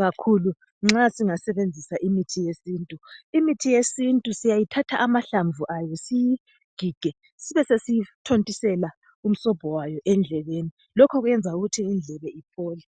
kakhulu nxa singasebenzisa imithi yesintu. Sithatha amahlamvu ayo siwagige sibe sesithontisela umsobho wayo endlebeni. Lokhu kwenza ukuthi indlebe iphole.